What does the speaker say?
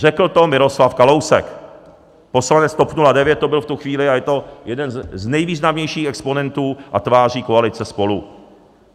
Řekl to Miroslav Kalousek, poslanec TOP 09 to byl v tu chvíli, a je to jeden z nejvýznamnějších exponentů a tváří koalice SPOLU.